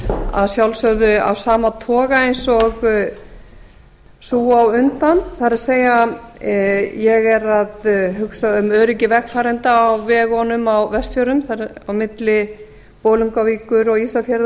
að sjálfsögðu af sama toga eins og sú á undan það er að segja ég er að hugsa um öryggi vegfarenda á vegunum á vestfjörðum á milli bolungarvíkur og ísafjarðar og